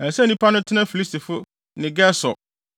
“Ɛsɛ sɛ nnipa no tena Filistifo ne Gesur,